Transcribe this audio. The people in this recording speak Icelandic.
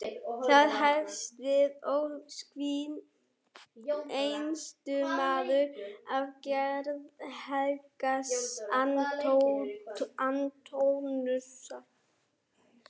Þar hefst við ósvikinn einsetumaður af gerð heilags Antóníusar.